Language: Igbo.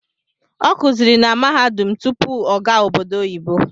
Ọ kuziri na mahadum tutpu ọ gaa obodo oyibo